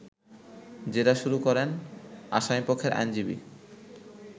জেরা শুরু করেন আসামিপক্ষের আইনজীবী